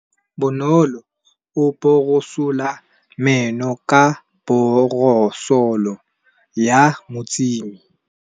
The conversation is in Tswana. Bonolô o borosola meno ka borosolo ya motšhine.